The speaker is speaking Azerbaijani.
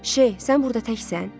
Şeyx, sən burda təksən?